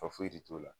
Fa foyi de t'o la